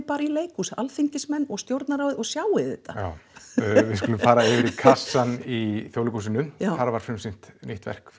bara í leikhús alþingismenn og stjórnarráðið og sjáið þetta já við skulum fara yfir í kassann í Þjóðleikhúsinu þar var frumsýnd nýtt verk